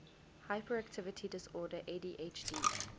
hyperactivity disorder adhd